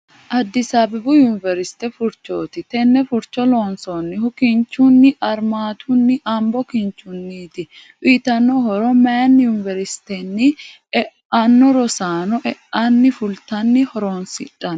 Addis Ababu univerisite furichoti Tene furicho lonsoonihu kinchuni arimatuninna ambo kinchiniiti uyiitano horro mayiini univerisite e'ano rosaano e'aninna fulitani horonsidhanno.